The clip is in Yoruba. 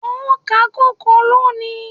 O ó ká kòkó lónìí.